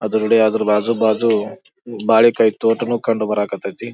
ಅಡ್ರಗಡೆ ಅದ್ರ ಬಾಜು ಬಾಜು ಬಾಳೆಕಾಯಿ ತೋಟನು ಕಂಡು ಬರಕತೈತಿ.